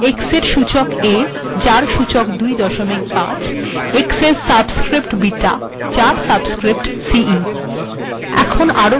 x এর সূচক a aএর সূচক ২৫ এবং x এর সাবস্স্ক্রিপ্ট বিটা যার সূচক ce